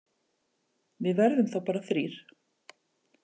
Við verðum þá bara þrír.